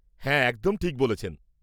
হ্যাঁ, ঠিক বলেছেন।